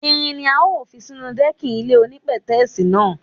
Irin la ó fi sínú dẹ́kìn ilé onípètẹ́sì náà.